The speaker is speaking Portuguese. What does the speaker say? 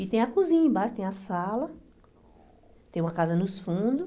E tem a cozinha embaixo, tem a sala, tem uma casa nos fundos.